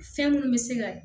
Fɛn minnu bɛ se ka